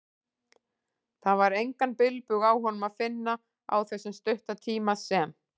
Það var engan bilbug á honum að finna, á þessum stutta tíma sem